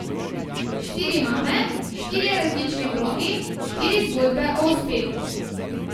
Štiri mame, štirje različni blogi, štiri zgodbe o uspehu.